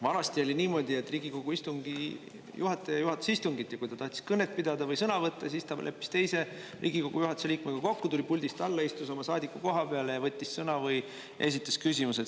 Vanasti oli niimoodi, et Riigikogu istungi juhataja juhatas istungit ja kui ta tahtis kõnet pidada või sõna võtta, siis ta leppis teise Riigikogu juhatuse liikmega kokku, tuli puldist alla, istus oma saadikukoha peale ja võttis sõna või esitas küsimuse.